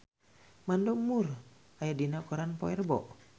Mandy Moore aya dina koran poe Rebo